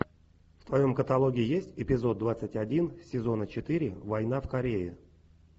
в твоем каталоге есть эпизод двадцать один сезона четыре война в корее